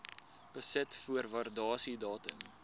besit voor waardasiedatum